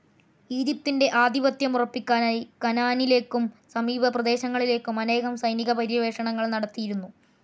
ഈജിപ്തിൻ്റെ ആധിപത്യമുറപ്പിക്കാനായി കാനാനിലേക്കും സമീപ പ്രദേശങ്ങളിലേക്കും അനേകം സൈനിക പര്യവേഷണങ്ങൾ നടത്തിയിരുന്നു.